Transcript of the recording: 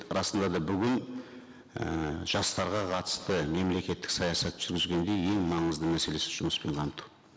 расында да бүгін і жастарға қатысты мемлекеттік саясат жүргізгенде ең маңызды мәселесі жұмыспен қамту